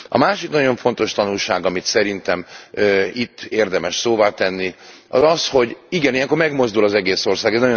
A másik nagyon fontos tanulság, amit szerintem itt érdemes szóvá tenni, az az, hogy igen, ilyenkor megmozdul az egész ország.